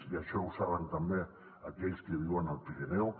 i això ho saben també aquells que viuen al pirineu